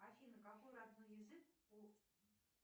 афина какой родной язык у